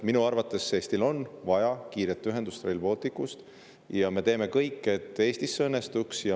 Minu arvates on Eestil vaja kiiret ühendust, Rail Balticut, ja me teeme kõik, et see Eestis õnnestuks.